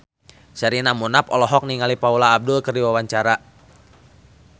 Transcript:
Sherina Munaf olohok ningali Paula Abdul keur diwawancara